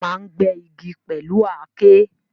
Wọ́n máa ń gbẹ́ igi pẹ̀lú Aké